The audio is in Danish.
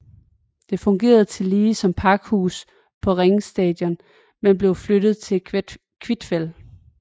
Det fungerede tidligere som pakhus på Ring Station men blev flyttet til Kvitfjell